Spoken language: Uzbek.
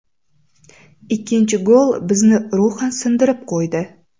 Ikkinchi gol bizni ruhan sindirib qo‘ydi.